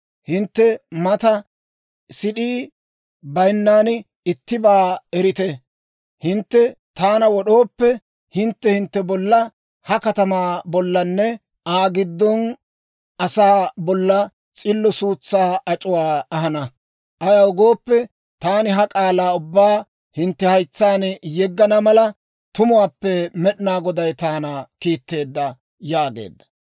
Hintte mata sid'ii bayinnan ittibaa erite. Hintte taana wod'ooppe, hintte hintte bolla, ha katamaa bollanne Aa giddon asaa bolla s'illo suutsaa ac'uwaa ahana. Ayaw gooppe, taani ha k'aalaa ubbaa hintte haytsaan yeggana mala, tumuwaappe Med'inaa Goday taana kiitteedda» yaageedda.